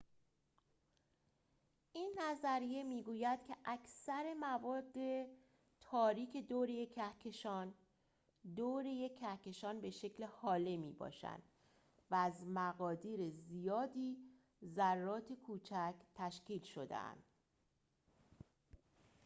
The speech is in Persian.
این نظریه می‌گوید که اکثر مواد تاریکِ دور یک کهکشان دور یک کهکشان به شکل هاله می‌باشند و از مقادیر زیادی ذرات کوچک تشکیل شده‌اند